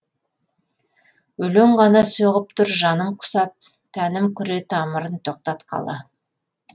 өлең ғана соғып тұр жаным құсап тәнім күре тамырын тоқтатқалы